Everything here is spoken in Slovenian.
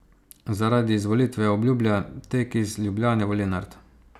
Zaradi izvolitve obljublja tek iz Ljubljane v Lenart.